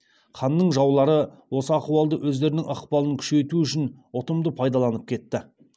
ханның жаулары осы ахуалды өздерінің ықпалын күшейту үшін ұтымды пайдаланып кетті